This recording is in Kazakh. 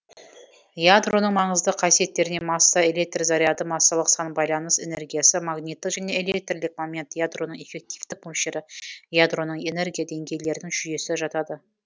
ядроның маңызды қасиеттеріне масса электр заряды массалық сан байланыс энергиясы магниттік және электрлік момент ядроның эффективтік мөлшері ядроның энергия деңгейлерінің жүйесі жатады